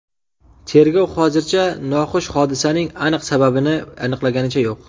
Tergov hozircha noxush hodisaning aniq sababini aniqlaganicha yo‘q.